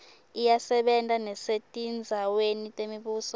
iyasebenta nesetindzaweni temibuso